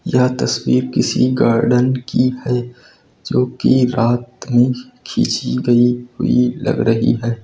यह तस्वीर किसी गार्डन की है जो कि रात में खींची गई हुई लग रही है।